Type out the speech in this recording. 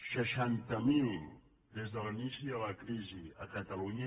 seixanta miler des de l’inici de la crisi a catalunya